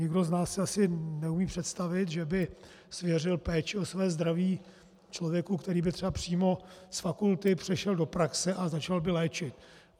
Nikdo z nás si asi neumí představit, že by svěřil péči o své zdraví člověku, který by třeba přímo z fakulty přešel do praxe a začal by léčit.